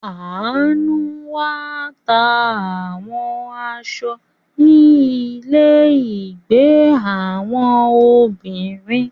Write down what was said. Anu wá ta àwọn aṣọ ni ile ìgbé àwọn obìnrin.